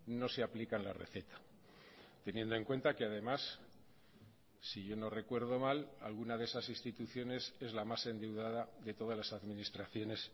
no se aplican la receta teniendo en cuenta que además si yo no recuerdo mal alguna de esas instituciones es la más endeudada de todas las administraciones